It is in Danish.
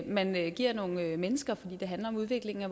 man giver nogle mennesker for det handler om udviklingen af